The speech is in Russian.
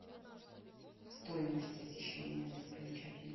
стоимость посещения достопримечательностей